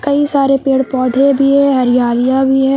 कई सारे पेड़ पौधे भी है हरियालियां भी है।